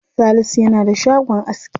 Salisu yana da shagon aski.